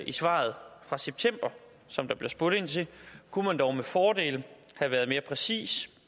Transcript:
i svaret fra september som der bliver spurgt ind til kunne man dog med fordel have været mere præcis